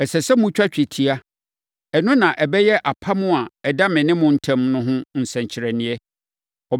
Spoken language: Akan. Ɛsɛ sɛ motwa twetia. Ɛno na ɛbɛyɛ apam a ɛda me ne mo ntam no ho nsɛnkyerɛnneɛ.